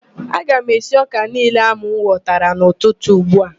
Aga m esi ọ́kà niile ahụ m ghọtara n'ụtụtụ ugbua